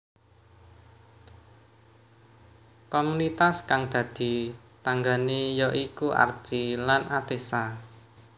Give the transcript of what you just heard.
Komunitas kang dadi tanggané ya iku Archi lan Atessa